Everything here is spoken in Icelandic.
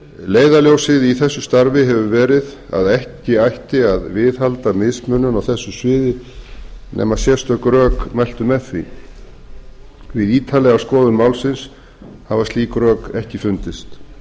leiðarljósið í þessu starfi hefur verið að ekki ætti að viðhalda mismunun á þessu sviði nema sérstök rök mæltu með því við ítarlega skoðun málsins hafa slík rök ekki fundist